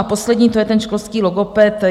A poslední, to je ten školský logoped.